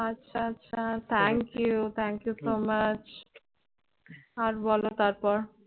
আচ্ছা আচ্ছা thank you thank you so much আর বলো তারপর